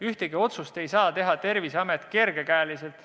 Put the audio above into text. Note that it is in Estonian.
Ühtegi otsust ei saa Terviseamet teha kergekäeliselt.